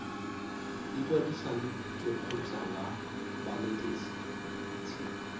ikwadisa le lekgotlha la banetetshi